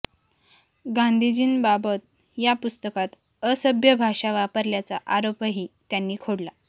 गांधीजींबाबत या पुस्तकात असभ्य भाषा वापरल्याचा आरोपही त्यांनी खोडला